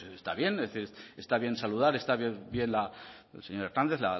pues está bien está bien saludar está bien señora el